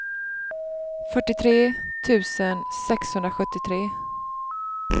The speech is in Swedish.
fyrtiotre tusen sexhundrasjuttiotre